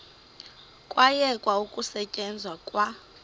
kwayekwa ukusetyenzwa kwa